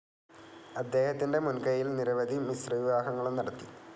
അദ്ദേഹത്തിൻ്റെ മുൻ കയ്യിൽ നിരവധി മിശ്ര വിവാഹങ്ങളും നടത്തി.